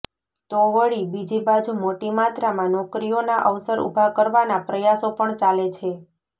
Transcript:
તો વળી બીજી બાજુ મોટી માત્રામાં નોકરીઓના અવસર ઊભા કરવાના પ્રયાસો પણ ચાલે છે